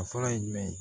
A fɔlɔ ye jumɛn ye